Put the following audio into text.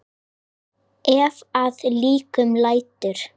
Ef að líkum lætur.